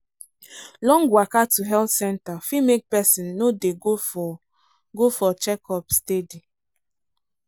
long waka to health centre fit make person no dey go for go for checkup steady.